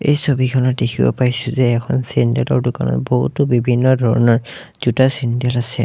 এই ছবিখনত দেখিব পাইছোঁ যে এখন চেণ্ডেলৰ দোকানত বহুতো বিভিন্ন ধৰণৰ জোতা চেণ্ডেল আছে।